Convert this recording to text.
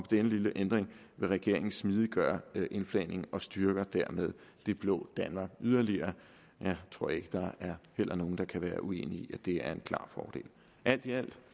denne lille ændring vil regeringen smidiggøre indflagningen og styrker dermed det blå danmark yderligere jeg tror ikke der er nogen der kan være uenige i at det er en klar fordel alt i alt kan